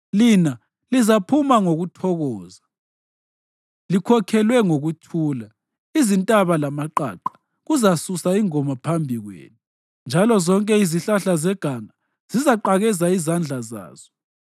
Lina lizaphuma ngokuthokoza likhokhelwe ngokuthula; izintaba lamaqaqa kuzasusa ingoma phambi kwenu, njalo zonke izihlahla zeganga zizaqakeza izandla zazo.